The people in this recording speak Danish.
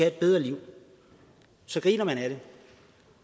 et bedre liv så griner man af det